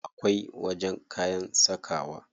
Akwai wajen kayan sakawa.